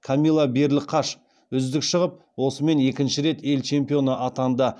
камила берліқаш үздік шығып осымен екінші рет ел чемпионы атанды